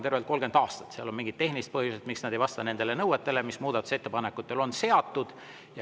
Seal mingid tehnilised põhjused, need ei vasta nõuetele, mis muudatusettepanekutele on seatud.